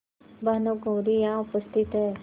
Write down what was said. भानुकुँवरि यहाँ उपस्थित हैं